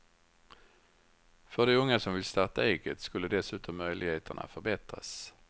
För de unga som vill starta eget skulle dessutom möjligheterna förbättras.